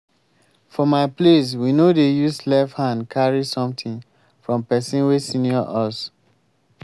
for my place we no dey use left hand carry something from person wey senior us